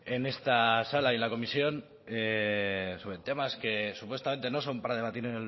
en esta sala y en la comisión sobre temas que supuestamente no son para debatir